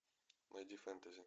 найди фэнтези